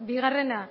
bigarrena